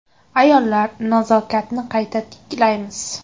Ayollar, nazokatni qayta tiklaymiz!